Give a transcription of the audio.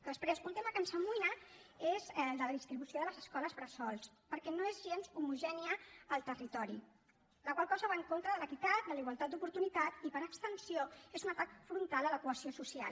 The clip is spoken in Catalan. després un tema que ens amoïna és el de la distribució de les escoles bressol perquè no és gens homogènia al territori la qual cosa va en contra de l’equitat de la igualtat d’oportunitats i per extensió és un atac frontal a la cohesió social